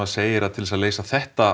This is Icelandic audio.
segir að til að leysa þetta